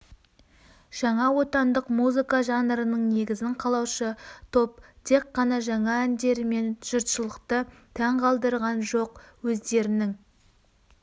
жаңа отандық музыка жанрының негізін қалаушы топ тек қана жаңа әндерімен жұртшылықты таң қалдырған жоқ өздерінің